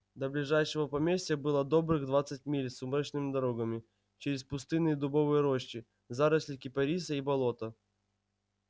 до ближайшего поместья было добрых двадцать миль сумрачными дорогами через пустынные дубовые рощи заросли кипариса и болота